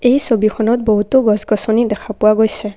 এই ছবিখনত বহুতো গছ-গছনি দেখা পোৱা গৈছে।